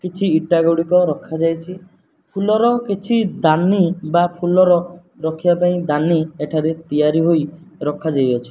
କିଛି ଇଟାଗୁଡ଼ିକ ରଖା ଯାଇଚି ଫୁଲର କିଛି ଦାନୀ ବା ଫୁଲ ରଖିବା ପାଇଁ ଦାନୀ ଏଠାରେ ତିଆରି ହୋଇ ରଖା ଯାଇଅଛି।